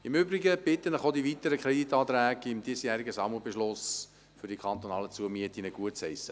Im Übrigen bitte ich Sie, auch die weiteren Kreditanträge des diesjährigen Sammelbeschlusses für die kantonalen Zumieten gutzuheissen.